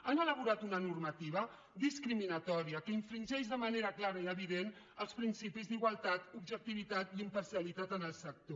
han elaborat una normativa discriminatòria que infringeix de manera clara i evident els principis d’igualtat objectivitat i imparcialitat en el sector